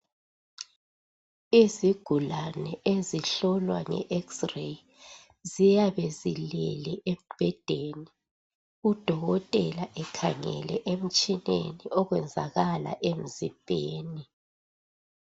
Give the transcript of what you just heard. Izigulane ezihlolwa nge (X-ray) ziyabe zilele embhedeni. Udokotela ekhangele emtshineni okwenzakala emzimbeni .